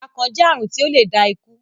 akàn jẹ àrùn tí o lẹ dá ikù.